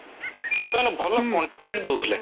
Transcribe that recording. ସେମାନେ ଭଲ content ଦଉଥିଲେ